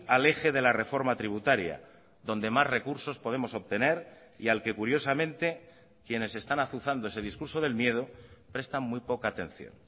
al eje de la reforma tributaria donde más recursos podemos obtener y al que curiosamente quienes están azuzando ese discurso del miedo prestan muy poca atención